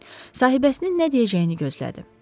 Sahibəsinin nə deyəcəyini gözlədi.